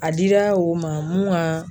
A dira o ma mun ga